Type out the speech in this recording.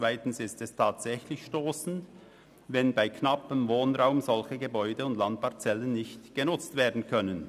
Zweitens ist es tatsächlich stossend, wenn bei knappem Wohnraum solche Gebäude und Landparzellen nicht genutzt werden können.